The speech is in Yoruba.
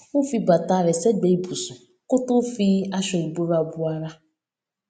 ó fi bàtà rè ségbèé ibùsùn kó tó fi aṣọ ìbora bo ara